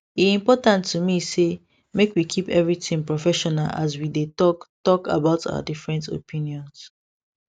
e important to me say make we keep everything professional as we dey talk talk about our different opinions